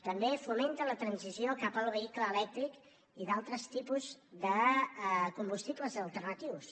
també fomenta la transició cap al vehicle elèctric i d’altres tipus de combustibles alternatius